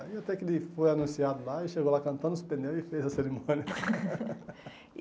Aí até que ele foi anunciado lá e chegou lá cantando os pneus e fez a cerimônia.